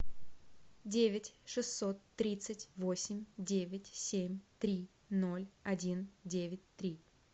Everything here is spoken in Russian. девять шестьсот тридцать восемь девять семь три ноль один девять три